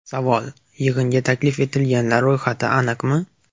Savol: Yig‘inga taklif etilganlar ro‘yxati aniqmi?